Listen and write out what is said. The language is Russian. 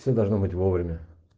все должно быть вовремя